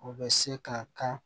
O bɛ se ka kan